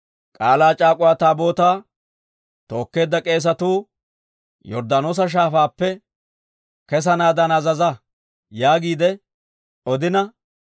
«K'aalaa c'aak'uwa Taabootaa tookkeedda k'eesatuu Yorddaanoosa Shaafaappe kessanaadan azaza» yaagiide odina,